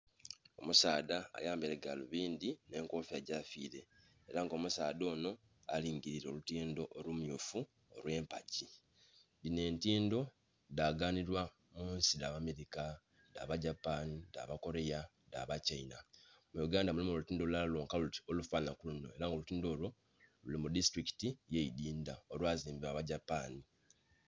Omusaadha ayambaire galubindi nh'enkofiira gyafiire era nga omusaadha onho alingilire olutindo olummyufu olw'empagi. Dhinho entindo dhaganibwa munsi dha b'America, dha ba Japan, dha ba Korea, dha ba China. Muno mu Uganda mulimu olutindho lulala lwonka luti olufanana kuluno ela olutindo olwo luli mu disitulikiti eye Idhindha, olwazimbwa aba Japan.